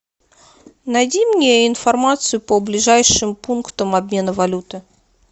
найди мне информацию по ближайшим пунктам обмена валюты